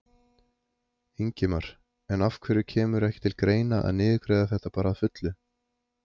Ingimar: En af hverju kemur ekki til greina að niðurgreiða þetta bara að fullu?